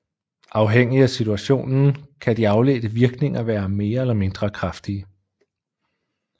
Afhængigt af situationen kan de afledte virkninger være mere eller mindre kraftige